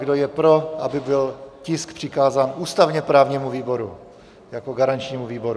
Kdo je pro, aby byl tisk přikázán ústavně-právnímu výboru jako garančnímu výboru?